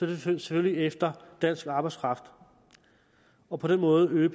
det selvfølgelig efter dansk arbejdskraft og på den måde øger